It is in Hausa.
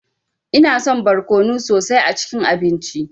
Ina son barkono sosai a cikin abinci.